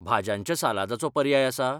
भाज्यांच्या सालादाचो पर्याय आसा?